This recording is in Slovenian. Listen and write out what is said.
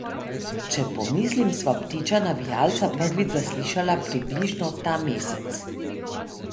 Če pomislim, sva ptiča navijalca prvič zaslišala približno ta mesec.